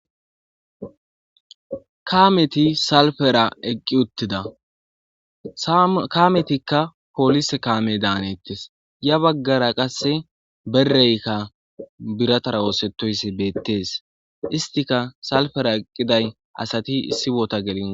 kameti salfera eqqi uttida kametikka polise kaameda hanettes ya baggara qasse berekka biratara osetoyssi beettees istika salfera eqqiday asati issi bota gelin